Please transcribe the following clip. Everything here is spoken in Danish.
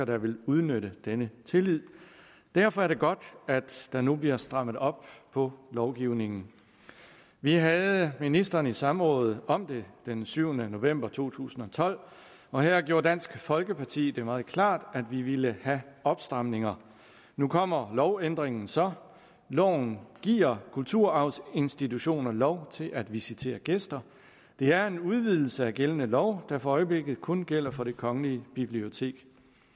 der vil udnytte denne tillid derfor er det godt at der nu bliver strammet op på lovgivningen vi havde ministeren i samråd om det den syvende november to tusind og tolv og her gjorde dansk folkeparti det meget klart at vi ville have opstramninger nu kommer lovændringen så loven giver kulturarvsinstitutioner lov til at visitere gæster det er en udvidelse af gældende lov der for øjeblikket kun gælder for det kongelige bibliotek